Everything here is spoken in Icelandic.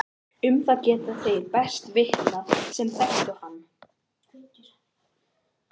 Um það geta þeir best vitnað sem þekktu hann.